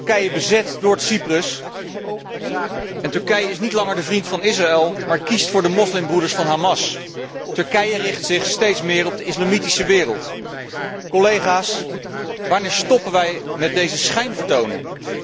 Turkije bezet Noord Cyprus en Turkije is niet langer de vriend van Israël, maar kiest voor de moslimbroeders van Hamas. Turkije richt zich steeds meer op de islamitische wereld. Collega's, wanneer stoppen wij met deze schijnvertoning?